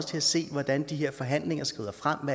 til at se hvordan de her forhandlinger skrider frem